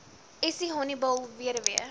essie honiball weduwee